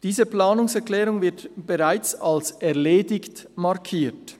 Diese Planungserklärung wird bereits als «erledigt» markiert: